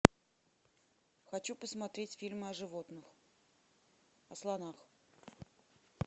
хочу посмотреть фильмы о животных о слонах